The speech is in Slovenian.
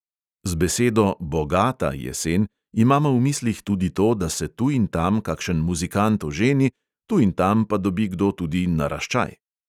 Z besedo "bogata" jesen imamo v mislih tudi to, da se tu in tam kakšen muzikant oženi, tu in tam pa dobi kdo tudi naraščaj.